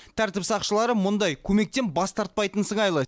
тәртіп сақшылары мұндай көмектен бас тартпайтын сыңайлы